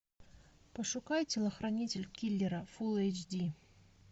пошукай телохранитель киллера фулл эйч ди